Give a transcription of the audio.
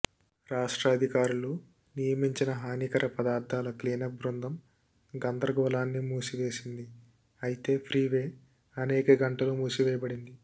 రాష్ట్ర అధికారులు నియమించిన హానికర పదార్థాల క్లీనప్ బృందం గందరగోళాన్ని మూసివేసింది అయితే ఫ్రీవే అనేక గంటలు మూసివేయబడింది